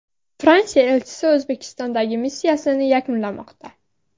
Fransiya elchisi O‘zbekistondagi missiyasini yakunlamoqda.